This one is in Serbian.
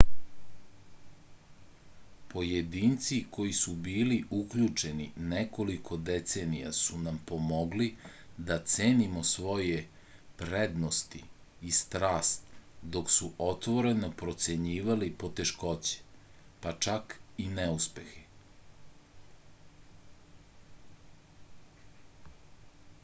pojedinci koji su bili uključeni nekoliko decenija su nam pomogli da cenimo svoje prednosti i strast dok su otvoreno procenjivali poteškoće pa čak i neuspehe